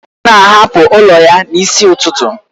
Ọ na-ahapụ ụlọ ya n'isi ụtụtụ